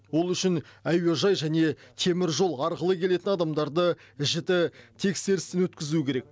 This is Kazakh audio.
ол үшін әуежай және теміржол арқылы келетін адамдарды жіті тексерістен өткізу керек